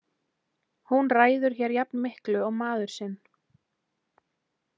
Hún ræður hér jafn miklu og maður sinn.